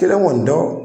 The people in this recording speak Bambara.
Kelen kɔni dɔ